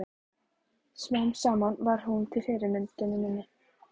Smám saman varð hún að fyrirmyndinni minni.